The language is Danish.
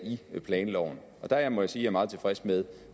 i planloven og der må jeg sige er meget tilfreds med